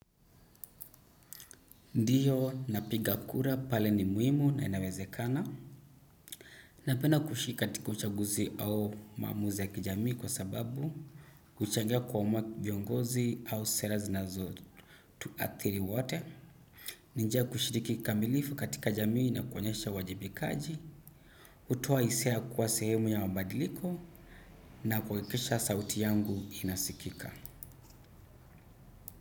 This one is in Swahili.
Ndiyo, napiga kura pale ni muhimu na inawezekana. Napenda kushiriki katika uchaguzi au maamuza ya kijamii kwa sababu, huchangia kuamua viongozi au sera zinazotuathiri wate, ni nja kushiriki kikamilifu katika jamii na kuonyesha uwajibikaji, hutoa hisia ya kuwa sehemu ya mabadiliko, na kuhakikisha sauti yangu inasikika.